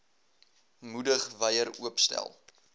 moedig wyer oopstel